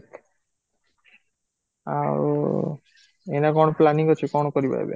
ଆଉ ଏଇନେ କଣ planning ଅଛି କଣ କରିବ ଏବେ?